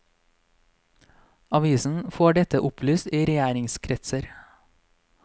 Avisen får dette opplyst i regjeringskretser.